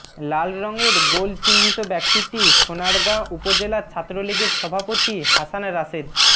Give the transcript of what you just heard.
লাল রংয়ের গোল চিহ্নিত ব্যক্তিটি সোনারগাঁ উপজেলা ছাত্রলীগের সভাপতি হাসান রাশেদ